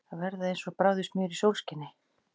Að verða eins og bráðið smjör í sólskini